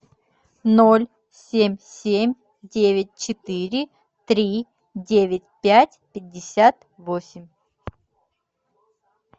ноль семь семь девять четыре три девять пять пятьдесят восемь